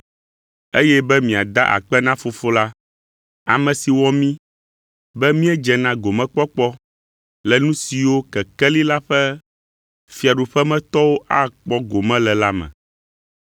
Eye be miada akpe na Fofo la, ame si wɔ mí be míedze na gomekpɔkpɔ le nu siwo kekeli la ƒe fiaɖuƒemetɔwo akpɔ gome le la me.